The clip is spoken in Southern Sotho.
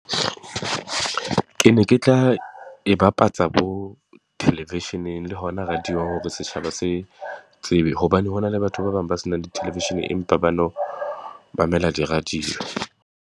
Ke ne ke tla e bapatsa bo television-eng le hona radio-ng hore setjhaba se tsebe. Hobane ho na le batho ba bang ba se nang le television, empa ba no mamela di-radio.